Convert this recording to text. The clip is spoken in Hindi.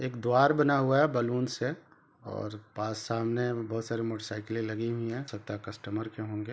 एक द्वार बना हुआ है बलून से और पास सामने बहुत सारे मोटर साईकले लगी हुई है छत्ता कस्टमर के होंगे।